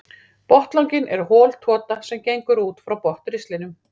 Botnlanginn er hol tota sem gengur út frá botnristlinum.